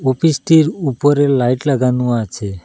ওফিসটির উপরে লাইট লাগানো আছে।